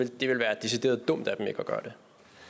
det vil være decideret dumt af dem ikke at gøre